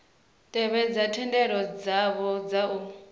tevhedze thendelano dzavho dza u